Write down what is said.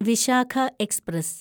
Vishakha express